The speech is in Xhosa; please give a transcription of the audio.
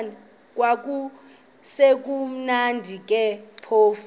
kwakusekumnandi ke phofu